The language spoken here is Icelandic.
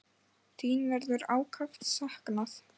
Þín verður ákaft saknað.